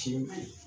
Ci